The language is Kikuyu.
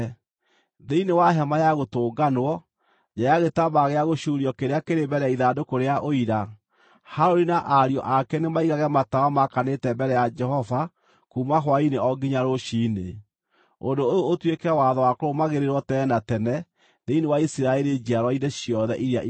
Thĩinĩ wa Hema-ya-Gũtũnganwo, nja ya gĩtambaya gĩa gũcuurio kĩrĩa kĩrĩ mbere ya ithandũkũ rĩa Ũira, Harũni na ariũ ake nĩmaigage matawa maakanĩte mbere ya Jehova kuuma hwaĩ-inĩ o nginya rũciinĩ. Ũndũ ũyũ ũtuĩke watho wa kũrũmagĩrĩrwo tene na tene thĩinĩ wa Isiraeli njiarwa-inĩ ciothe iria igooka.